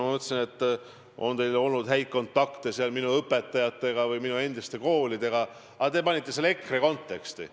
Ma mõtlesin, et teil on olnud häid kontakte minu õpetajatega või minu endiste koolidega, aga te panite selle EKRE konteksti.